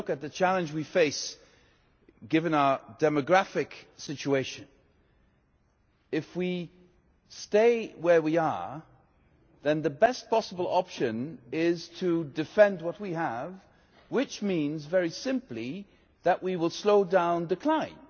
If you look at the challenge we face, given our demographic situation, then if we stay where we are, the best possible option is to defend what we have, which means, very simply, that we will slow down decline.